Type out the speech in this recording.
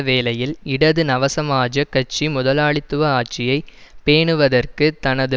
வேளையில் இடது நவசமசமாஜக் கட்சி முதலாளித்துவ ஆட்சியை பேணுவதற்கு தனது